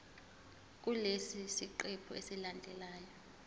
kulesi siqephu esilandelayo